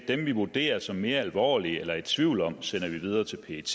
dem vi vurderer som mere alvorlige eller er i tvivl om sender vi videre til pet